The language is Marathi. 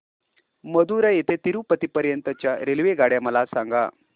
मदुरई ते तिरूपती पर्यंत च्या रेल्वेगाड्या मला सांगा